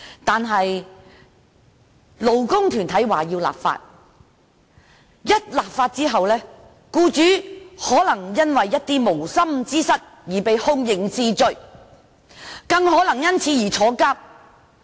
有勞工團體要求立法，但一旦立法，僱主可能會因為無心之失而被刑事檢控，更有可能因此而坐牢。